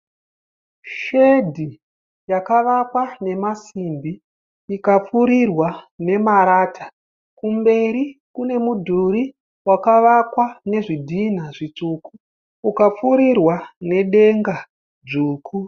Shedhi yakavakwa nemasimbi ukapfurirwa nemarata. Kumberi kune mudhuri wakavakwa nezvidhinha zvitsvuku ukapfurirwa nedenga dzvuku.